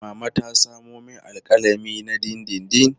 Mama ta samo min alƙalami na dindindin.